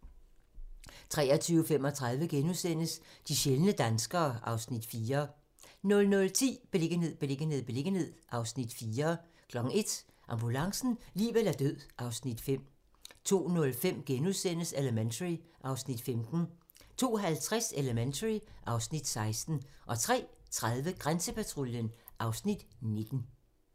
23:35: De sjældne danskere (Afs. 4)* 00:10: Beliggenhed, beliggenhed, beliggenhed (Afs. 4) 01:00: Ambulancen - liv eller død (Afs. 5) 02:05: Elementary (Afs. 15)* 02:50: Elementary (Afs. 16) 03:30: Grænsepatruljen (Afs. 19)